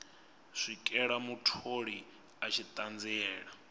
swikela mutholi a tshi ṱanziela